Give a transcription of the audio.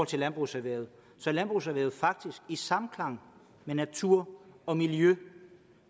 til landbrugserhvervet så landbrugserhvervet faktisk i samklang med natur og miljø